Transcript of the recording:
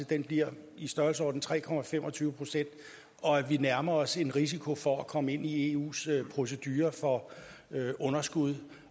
den bliver i størrelsesordenen tre procent og at vi nærmer os en risiko for at komme ind i eus procedure for underskud